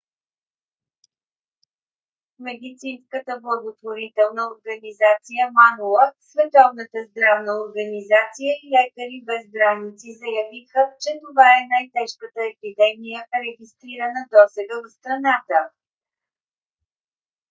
медицинската благотворителна организация mangola световната здравна организация и лекари без граници заявиха че това е най-тежката епидемия регистрирана досега в страната